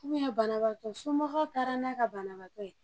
banabagatɔ somɔgɔw taara n'a ka banabagatɔ ye